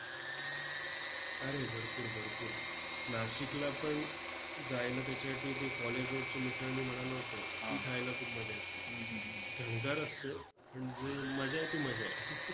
अरे भरपूर भरपूर नाशिकला पण जायला त्याच्यासाठी ती college road ची मिसळ मी म्हणालो होतो ती खायला खूप मजा येते. झणकार असते पण जी मजा आहे ती मजा आहे.